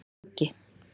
Skuggi